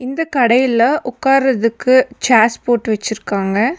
இந்த கடையில உக்காரதுக்கு சேர்ஸ் போட்டு வச்சிருக்காங்க.